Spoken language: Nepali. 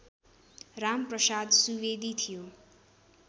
रामप्रसाद सुवेदी थियो